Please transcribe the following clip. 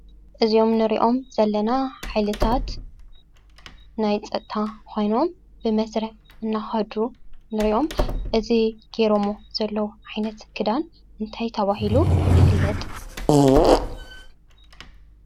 እዞም እንሪኦም ዘለና ሓይልታት ናይ ፀፅታ ኮይኖም ብመስርዕ ናከዱ ንሪኦም፡፡ እዚ ገይረሞ ዘለዉ ዓይነት ክዳን እንታይ ተባሂሉ ይፍለጥ?